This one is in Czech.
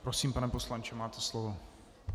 Prosím, pane poslanče, máte slovo.